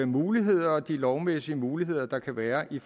muligheder og de lovmæssige muligheder der kan være i